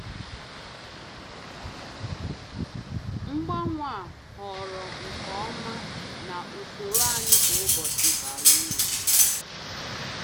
Mgbanwe a họọrọ nke ọma na usoro anyị kwa ụbọchị bara uru.